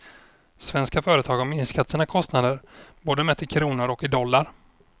Svenska företag har minskat sina kostnader både mätt i kronor och i dollar.